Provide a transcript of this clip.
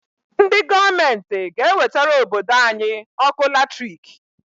Ndị gọọmenti g'ewetara obodo anyị ọkụ latrik.